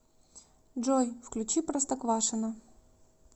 джой включи простоквашино